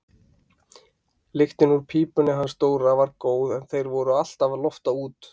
Lyktin úr pípunni hans Dóra var góð en þeir voru alltaf að lofta út.